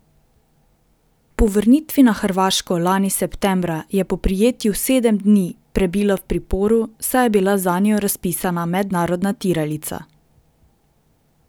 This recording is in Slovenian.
Po vrnitvi na Hrvaško lani septembra, je po prijetju sedem dni prebila v priporu, saj je bila zanjo razpisana mednarodna tiralica.